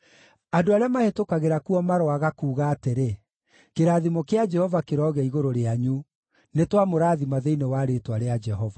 Andũ arĩa mahĩtũkagĩra kuo maroaga kuuga atĩrĩ, “Kĩrathimo kĩa Jehova kĩrogĩa igũrũ rĩanyu; nĩtwamũrathima thĩinĩ wa rĩĩtwa rĩa Jehova.”